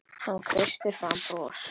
Hann kreisti fram bros.